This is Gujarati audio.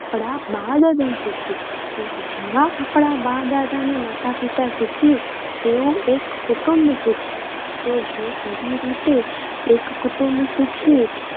આપણા બા-દાદા સુખી. એમ જેવા આપણા બા-દાદા અને માતાપિતા સુખી એવું એક કુટુંબ સુખી તો એવી રીતે જો એક કુટુંબ સુખી